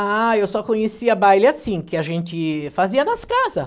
Ah, eu só conhecia baile assim, que a gente fazia nas casa.